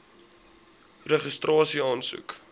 registrasieaansoek